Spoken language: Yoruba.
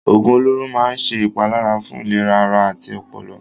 Òògùn olóró máa ń ṣe ìpalára fún ìlera ara àti ọpọlọ.